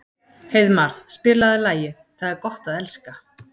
Heiðmar, spilaðu lagið „Það er gott að elska“.